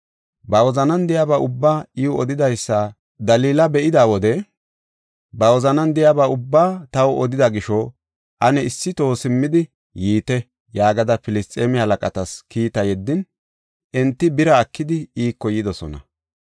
Ba wozanan de7iyaba ubbaa I odidaysa Dalila be7ida wode, “Ba wozanan de7iyaba ubbaa taw odida gisho, ane issi toho simmidi yiite” yaagada Filisxeeme halaqatas kiita yeddin enti bira ekidi iiko yidosona.